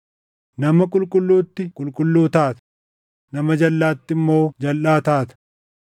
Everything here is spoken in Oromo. nama qulqulluutti qulqulluu taata; nama jalʼaatti immoo jalʼaa taata.